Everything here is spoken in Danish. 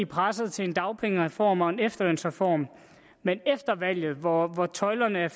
presset til en dagpengereform og en efterlønsreform men efter valget hvor tøjlerne